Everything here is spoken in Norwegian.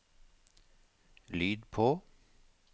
lyd på